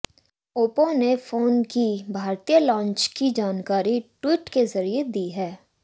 Oppo ने phone की भारतीय लॉन्च की जानकारी ट्वीट के जरिए दी है